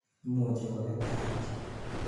imuchi koget kapchi